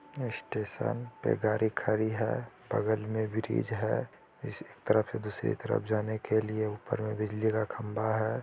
Station पे गाड़ी खड़ी है बगल में ब्रिज है इसी एक तरफ से दूसरी तरफ जाने के लिए ऊपर में बिजली का खम्बा है।